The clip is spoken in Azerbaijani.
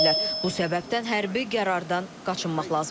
Bu səbəbdən hərbi qərardan qaçınmaq lazımdır.